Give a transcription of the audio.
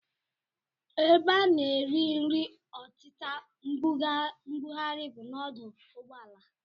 Ebe a na-ere nri ọtịta mbugharị bụ n'ọdụ ụgbọala